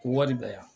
Ko wari bɛ yan